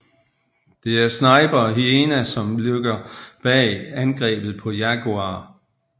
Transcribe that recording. Det er Sniper og Hyena som ligger bag angrebet på Jaguar